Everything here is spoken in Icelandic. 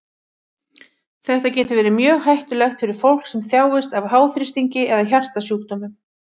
Þetta getur verið mjög hættulegt fyrir fólk sem þjáist af háþrýstingi eða hjartasjúkdómum.